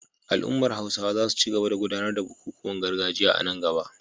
Al’ummar Hausawa za su ci gaba da gudanar da bukukuwan gargajiya a nan gaba